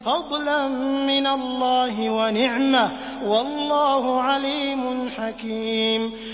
فَضْلًا مِّنَ اللَّهِ وَنِعْمَةً ۚ وَاللَّهُ عَلِيمٌ حَكِيمٌ